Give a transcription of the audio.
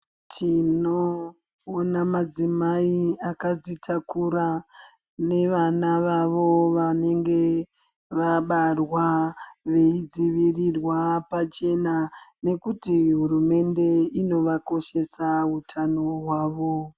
Tinoona madzimai akadzitakura nevana vavo vanenge vabarwa veidzivirirwa pachena nekuti hurumende inovakoshesa hutano hwavo.